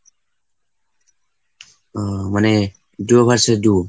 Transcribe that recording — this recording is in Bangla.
মানে duo versus duo?